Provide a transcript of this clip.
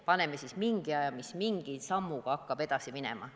Määrame mingi aja, millise sammuga hakkame edasi minema.